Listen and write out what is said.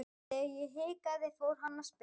Þegar ég hikaði fór hann að spyrja.